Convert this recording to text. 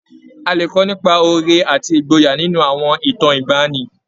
A lè kọ́ nípa oore àti ìgboyà nínú àwọn ìtàn ìgbaanì.